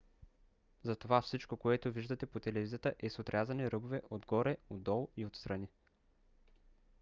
затова всичко което виждате по телевизията е с отрязани ръбове отгоре отдолу и отстрани